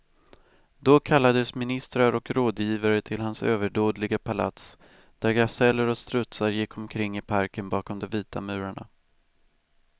Då kallades ministrar och rådgivare till hans överdådiga palats, där gaseller och strutsar gick omkring i parken bakom de vita murarna.